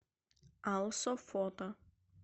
алсо фото